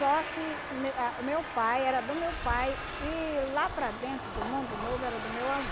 que me ah meu pai era do meu pai e lá para dentro, do mundo novo, era do meu